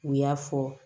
U y'a fɔ